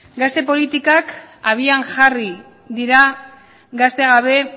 gazte politikak